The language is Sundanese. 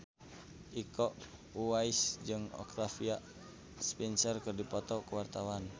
Iko Uwais jeung Octavia Spencer keur dipoto ku wartawan